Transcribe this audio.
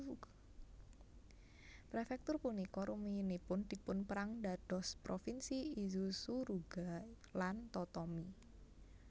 Prefektur punika rumiyinipun dipunpérang dados Provinsi Izu Suruga lan Totomi